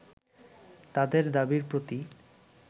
তাদের দাবির প্রতি